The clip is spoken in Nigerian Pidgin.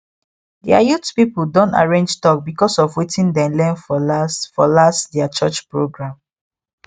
their youth people don arrange talk because of wetin dem learn for last for last their church program